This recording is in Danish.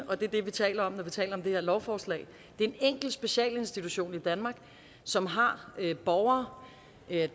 og det er det vi taler om når vi taler om det her lovforslag er en enkelt specialinstitution i danmark som har borgere